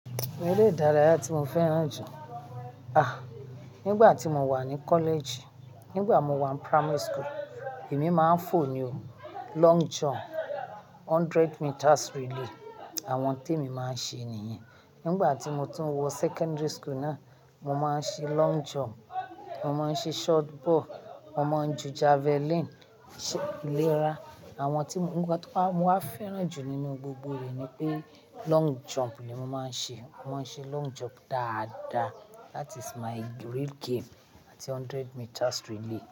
Ere idáraya ti mo fẹ́ràn jù. Ah! Nígbà tí mo wà ní college, nígbà mo wà ní primary school, èmi máa ń fò ni o. Long jump, hundred meters relay àwọn tí èmi máa ń ṣe nìyẹn. Nígbà tí mo tún wọ secondary school náà, mo máa ń ṣe long jump, mo máa ń ṣe shot ball, mo máa ń ju javelin, ṣe ìlera àwọn tí mo, nígbà tí mo wà fẹ́ràn jù nínú gbogbo èyí ni pé long jump ni mo máa ń ṣe. Mo máa ń ṣe long jump dáadáa. That is my real game àti hundred meters relay.